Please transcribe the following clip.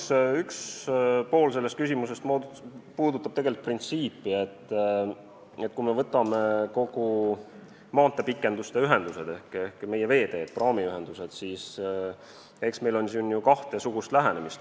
Jah, üks pool sellest küsimusest puudutab tegelikult seda printsiipi, et kui me võtame kogu selle maanteepikenduse teema ehk meie veeteed, praamiühendused, siis eks meil on kahesugust lähenemist.